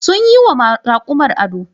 Sun yi ma rakumar ado.